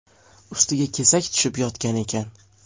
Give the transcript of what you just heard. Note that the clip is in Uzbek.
Ustiga kesak tushib yotgan ekan.